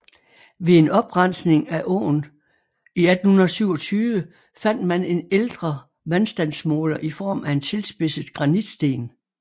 Ved en oprensning af åen i 1827 fandt man en ældre vandstandsmåler i form af en tilspidset granitsten